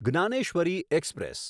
Dnyaneshwari express